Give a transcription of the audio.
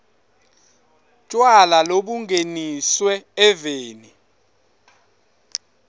tjwala lobungeniswe eveni